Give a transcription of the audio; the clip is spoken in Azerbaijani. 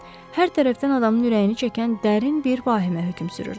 Hər tərəfdən adamın ürəyini çəkən dərin bir vahimə hökm sürürdü.